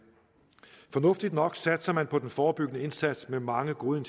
fornuftigt nok satser man på den forebyggende indsats med mange gode